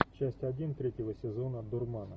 часть один третьего сезона дурмана